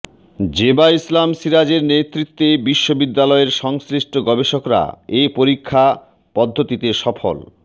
জেবা ইসলাম সেরাজের নেতৃত্বে বিশ্ববিদ্যালয়ের সংশ্লিষ্ট গবেষকরা এ পরীক্ষা পদ্ধতিতে সফলতা